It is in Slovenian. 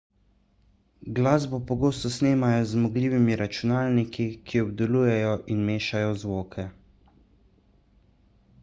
glasbo pogosto snemajo z zmogljivimi računalniki ki obdelujejo in mešajo zvoke